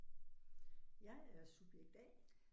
Jeg er subjekt A